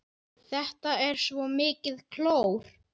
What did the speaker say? Þetta er svo mikið klór.